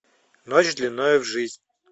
ночь длиною в жизнь